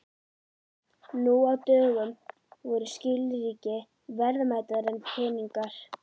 Nú á dögum voru skilríki verðmætari en peningar.